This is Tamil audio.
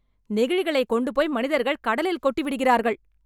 நெகிழிகளை கொண்டு போய் மனிதர்கள் கடலில் கொட்டி விடுகிறார்கள்.